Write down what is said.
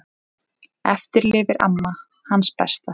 Eftir lifir amma, hans besta.